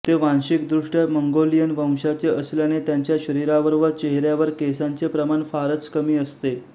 ते वांशिक दृष्ट्या मंगोलियन वंशाचे असल्याने त्यांच्या शरीरावर व चेहऱ्यावर केसांचे प्रमाण फारच कमी असते